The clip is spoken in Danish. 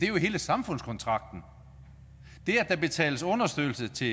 hele samfundskontrakten der betales understøttelse til